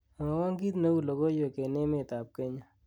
mwowon kiit neu logoiwek en emet ab kenya